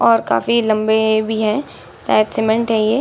और काफी लम्बे भी है शायद सीमेंट है ये।